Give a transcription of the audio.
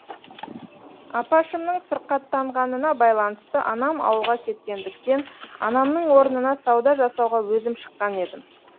апашымның сырқаттанғанына байланысты анам ауылға кеткендіктен анамның орнына сауда жасауға өзім шыққан едім